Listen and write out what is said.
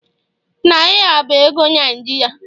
Naira bụ ego Naijiria